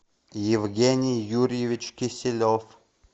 евгений юрьевич киселев